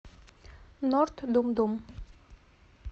норд думдум